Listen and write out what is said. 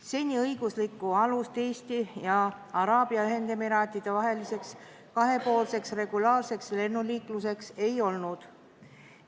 Seni õiguslikku alust Eesti ja Araabia Ühendemiraatide vaheliseks kahepoolseks regulaarseks lennuliikluseks ei olnud.